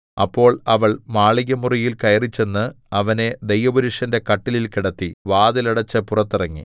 അപ്പോൾ അവൾ മാളികമുറിയിൽ കയറിച്ചെന്ന് അവനെ ദൈവപുരുഷന്റെ കട്ടിലിൽ കിടത്തി വാതിൽ അടെച്ച് പുറത്തിറങ്ങി